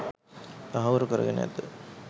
තහවුරු කරගෙන ඇත.